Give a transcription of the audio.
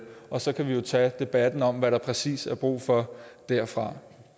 og så kan vi jo tage debatten om hvad der præcis er brug for derfra